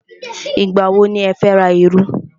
Ìgbà wọ ni ẹ fẹ́ ra iru?